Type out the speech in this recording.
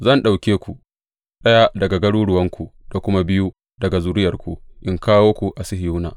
Zan ɗauke ku, ɗaya daga garuruwanku da kuma biyu daga zuriyarku in kawo ku a Sihiyona.